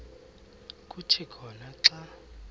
kuthi khona xa